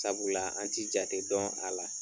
Sabula an tɛ ja jate dɔn a la